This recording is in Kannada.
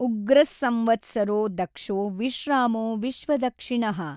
ಉಗ್ರಃ ಸಂವತ್ಸರೋ ದಕ್ಷೋ ವಿಶ್ರಾಮೋ ವಿಶ್ವದಕ್ಷಿಣಃ।